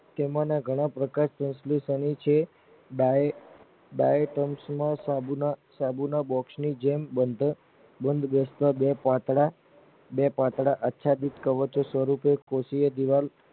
તેમાંના ઘણા પ્રકાશ સંલેસનો છે Bipons ના શાન માં બોક્સ ની જેમ બંધ બેસતા બે પાંખડા બે પાંખડા આખ્યાગીત સ્વરૂપે કોષીય દીવાલ